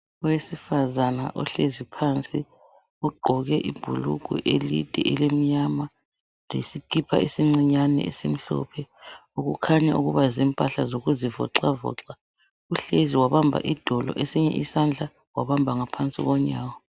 Owesifazana ohlezi phansi ugqoke ibhulugwe elimnyama elide lesikipa esincinyane esimhlophe kukhanya ukuba zimpahla zokuzivicavoca uhlezi wabamba idolo esinye isandla wabamba ngaphansi konyawo.